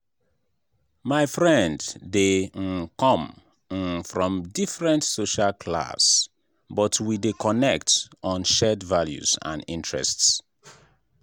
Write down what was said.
my friend dey um come um from different social class but we dey connect on shared values and interests.